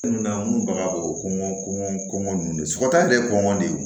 baganw kɔngɔ kɔɔngɔn ninnu de sɔgɔta de ye kɔngɔ de ye